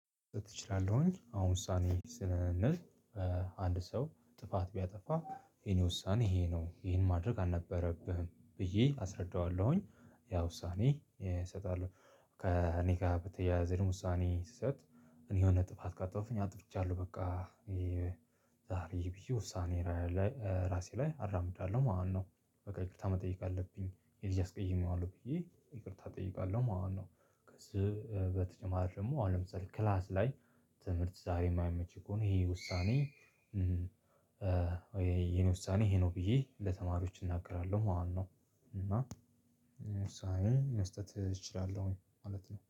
እችላለሁኝ አሁን ውሳኔ ስንል አንድ ሰው ጥፋት ቢያጠፋ የኔ ውሳኔ ይሄ ነው ይሄን ማድረግ አልነበረብህም ብዬ አስረዳዋለሁኝ። ያው ውሳኔ እሰጣለሁ ከእኔ ጋር በተያያዘም ውሳኔ ስሰጥ እና የሆነ ጥፋት ካጣሁፍኝ አጥፍቻለሁ በቃ። ዛሬ ብዬ ውሳኔ እራሴ ላይ አራምዳለሁ ማለት ነው። በቃ ይቅርታ መጠየቅ አለብኝ ይሄን አስቀይሜዋለሁ ብዬ ይቅርታ እጠይቃለሁ ማለት ነው። ከዚህ በተጨማሪ ደግሞ አሁን ለምሳሌ ክላስ ላይ ትምህርት ዛሬ የማይመች ከሆነ ነው ይሄ ውሳኔ። የእኔ ውሳኔ ይሄ ነው ብዬ ለተማሪዎች እናገራለሁ ማለት ነው። እና ዉሳኔዬን መስጠት እችላለሁ።